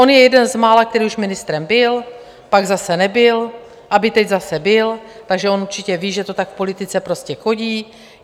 On je jeden z mála, který už ministrem byl, pak zase nebyl, aby teď zase byl, takže on určitě ví, že to tak v politice prostě chodí.